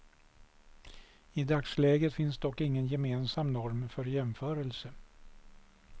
I dagsläget finns dock ingen gemensam norm för jämförelse.